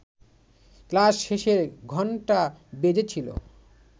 class শেষের ঘণ্টা বেজেছিল